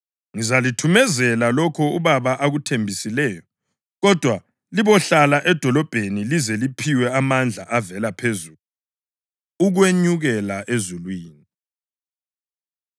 Ngizalithumezela lokho uBaba akuthembisileyo; kodwa libohlala edolobheni lize liphiwe amandla avela phezulu.” Ukwenyukela Ezulwini